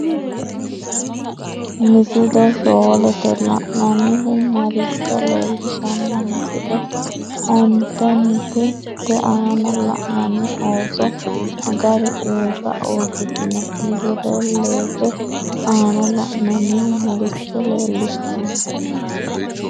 Misile shoolete la’inannihu maricho leellishanno? Misile ontenete te aana la’inanni ooso magari uurra uurritino? Misile leete aana la’inannihu maricho leellishanno?